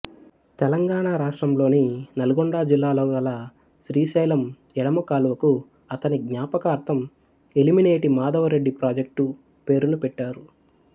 తెలంగాణ రాష్ట్రంలోని నల్గొండ జిల్లాలో గల శ్రీశైలం ఎడమ కాలువకు అతని జ్ఞాపకార్థం ఎలిమినేటి మాధవరెడ్డి ప్రాజెక్టు పేరును పెట్టారు